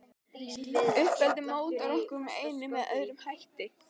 Uppeldið mótar okkur með einum eða öðrum hætti.